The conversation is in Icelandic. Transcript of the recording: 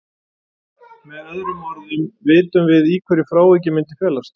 Með öðrum orðum vitum við í hverju frávikið myndi felast.